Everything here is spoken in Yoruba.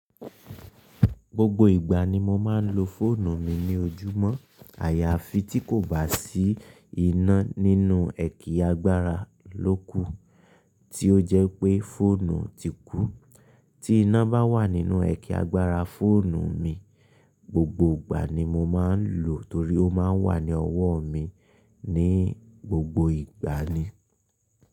Gbogbo ìgbà ni mo máa ń lo fóònù mi ní ojúmọ́. Àyàfi tí kò bá sí iná nínú ẹ̀kì agbára lóku tí ó jẹ́ wipé fóònù ti kú. Tí iná bá wà nínú ẹ̀kì agbára fóònù mi, gbogbo ìgbà ni mo máa ń lò torí ó máa ń wà ní ọwó mi ní gbogbo ìgbà ni.